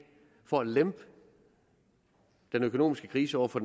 for at lempe den økonomiske krise over for